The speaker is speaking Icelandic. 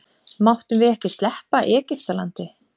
Máttum við ekki sleppa Egiftalandi?